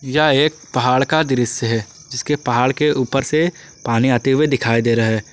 यह एक पहाड़ का दृश्य है जिसके पहाड़ के ऊपर से पानी आते हुए दिखाई दे रहा हैं।